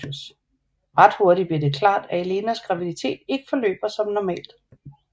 Ret hurtig bliver det klart at Elenas graviditet ikke forløber som normalt